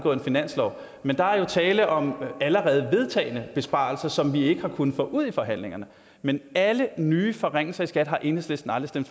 finanslov men der er jo tale om allerede vedtagne besparelser som vi ikke har kunnet få ud i forhandlingerne men alle nye forringelser i skat har enhedslisten aldrig